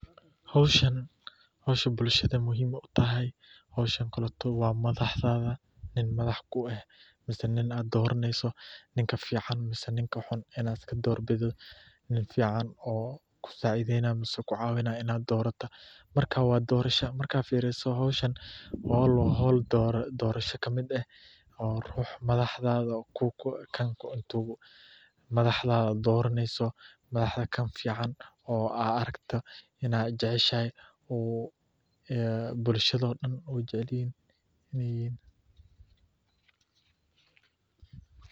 Hoshan hosha bulshada muhim u tahay , hoosha koleto wa madaxdatha madaxa kueh mise nin aa doraneysoh ninka fican mise ninka xun Ina doorbidoh, nin fican Oo kusaceydenay amah kucawinayo Ina dorotoh, marka wa dorasha marka firisoh hoshan wa hool dorasho kamit aah oo ruuxa madaxtha kan kubeeh madaxdatha doraneysoh waxakafican Ina I jacshahay ee bulsha ee jaceelyahin .